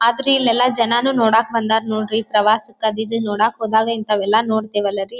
ಆದ್ರೆ ಇಲ್ಲೆಲ್ಲ ಜನ ನೋಡಕ್ಕೆ ಬಂದಾರ್ ನೋಡ್ರಿ ಪ್ರವಾಸ ಕರೆದಿ ಕರೆದಿದ್ದಕ್ಕೆ ನೋಡೋಕ್ ಹೋದಾಗ ಇಂಥವೆಲ್ಲ ನೋಡ್ತಿವಲ್ಲ ರೀ.